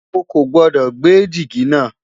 ọ kò gbodò gbé jìgì na